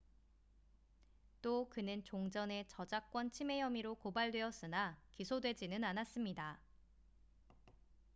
또 그는 종전에 저작권 침해 혐의로 고발되었으나 기소되지는 않았습니다